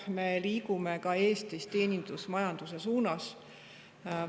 Me liigume ka Eestis teenusmajanduse suunas.